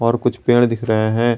तों कुछ पेड़ दिख रहे हैं।